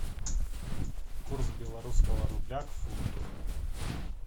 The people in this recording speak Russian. курс белорусского рубля к фунту